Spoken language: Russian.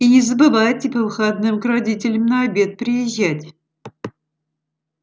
и не забывайте по выходным к родителям на обед приезжать